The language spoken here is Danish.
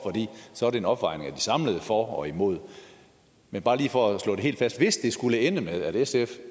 så er det en opvejning af de samlede argumenter for og imod men bare lige for at slå det helt fast hvis det skulle ende med at sf